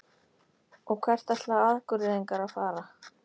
Og hvert ætla Akureyringar að fara?